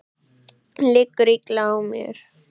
Liggur illa á mér?